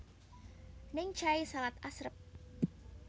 Naengchae salad asrep